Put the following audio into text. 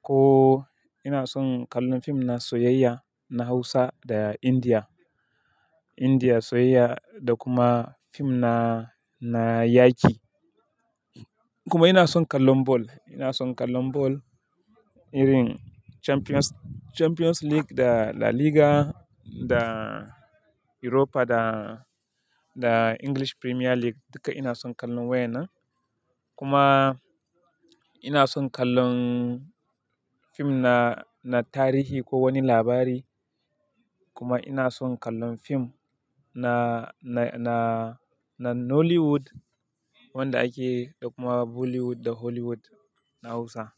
ko ina son kallon fim na soyayya na Hausa da India, India soyayya da kuma fim na, na yaƙi. Kuma ina son kallon ball, ina son kallon ball irin Champions, Champions League da La Liga da Europa da, da English Premier League duka ina son kallon waenan. Kuma ina son kallon fim na, na tarihi ko wani labari. Kuma ina son kallon fim na, na, na, na Nollywood wanda ake da kuma Bollywood da Hollywood na Hausa.